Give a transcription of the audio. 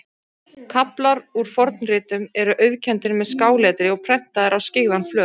Kaflar úr fornritum eru auðkenndir með skáletri og prentaðir á skyggðan flöt.